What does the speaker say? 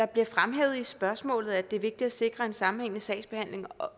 bliver fremhævet i spørgsmålet at det er vigtigt at sikre en sammenhængende sagsbehandling og